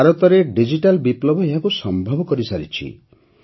ଭାରତରେ ଡିଜିଟାଲ ବିପ୍ଳବ ଏହାକୁ ସମ୍ଭବ କରିସାରିଛି